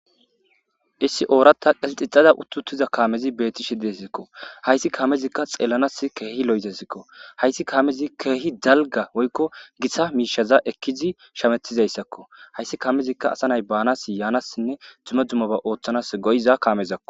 issi oorata qisixixada uttutiza kaamezi beetti shidiessikko hayssi kaamezikka xeelanas keehi lo7etesikko hayssi kaamezi keehi dalga woykko gissa miishaza ekkizi shametizayssakko hayssi kaamezikka asa nay baanas yaanassinne juma dumoba ooththanas goyiza kaamezakko